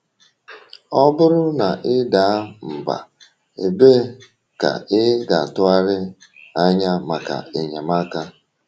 Ọ bụrụ na ị daa mbà, ebee ka ị ga-atụgharị anya maka enyemaka?